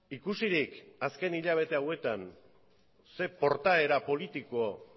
ikusirik azken hilabete hauetan ze portaera politiko